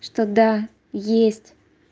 что да есть